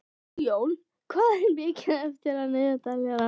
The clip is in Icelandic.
Sigjón, hvað er mikið eftir af niðurteljaranum?